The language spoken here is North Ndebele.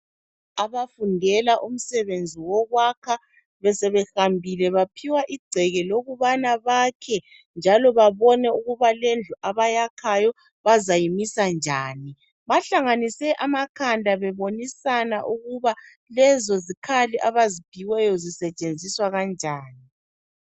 Abafundela umsebenzi wokwakha besebehambile baphiwa igceke lokubana bakhenjalo babone ukubana lendawo abayakhayo bazayimisa njani bahlanganise amakhanda bebonisana ukuba lezo zikhali abaziphiweyo zisetshenziswa kanjani